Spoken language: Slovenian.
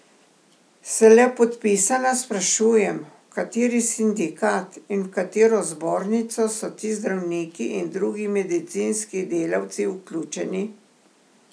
Se le podpisana sprašujem, v kateri sindikat in v katero zbornico so ti zdravniki in drugi medicinski delavci vključeni?